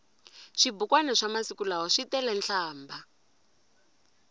swibukwani swa masiku lawa switele nhlambha